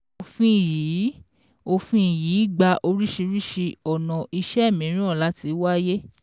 Òfin yìí Òfin yìí gba oríṣiríṣi ona iṣẹ́ mìíràn láti wáyé